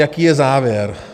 Jaký je závěr?